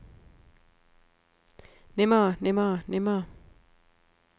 nemmere nemmere nemmere